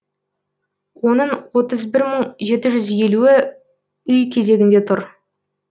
оның отыз бір мың жеті жүз елуі үй кезегінде тұр